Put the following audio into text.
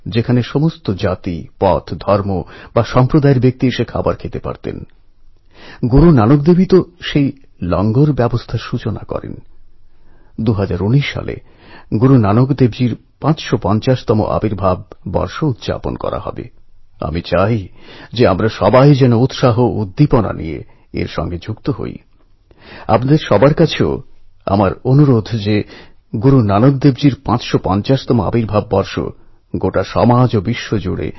এই ঘটনাটিকে খতিয়ে দেখলে একটা ব্যাপার আপনাদের অবশ্যই মনে হবে যে এই তরুণেরা আমেরিকায় সেদেশের চলনবলন বিচারবিবেচনার মধ্যে জীবন কাটাচ্ছেন হয়ত বেশ কিছু বছর আগে দেশ ছেড়েছেন কিন্তু তা সত্ত্বেও নিজের গ্রামের সূক্ষ্মাতিসূক্ষ্ম বিষয়গুলি জানেন চ্যালেঞ্জগুলিকে বোঝেন এবং গ্রামের সঙ্গে ইমোশনালি যুক্ত রয়েছেন